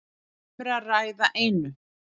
Um er að ræða einu